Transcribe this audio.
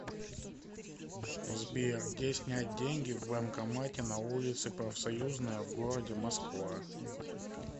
сбер где снять деньги в банкомате на улице профсоюзная в городе москва